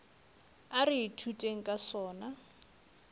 a re ithuteng ka sona